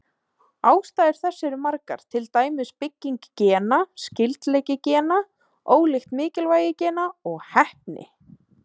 Ástæður þess eru margar, til dæmis bygging gena, skyldleiki gena, ólíkt mikilvægi gena og heppni.